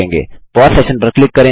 pause session पर click करें